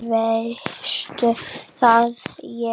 En veistu hvað ég þarf.